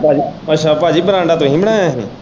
ਉਹ ਅੱਛਾ ਭਾਜੀ ਬਰਾਂਡਾ ਤੁਹੀਂ ਬਣਾਇਆ ਹੀ?